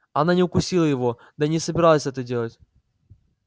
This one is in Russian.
она не укусила его да и не собиралась это делать